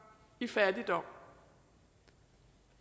i fattigdom